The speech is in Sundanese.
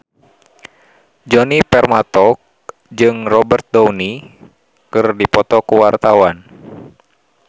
Djoni Permato jeung Robert Downey keur dipoto ku wartawan